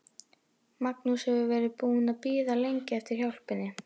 Magnús hefur verið búinn að bíða lengi eftir hjálpinni.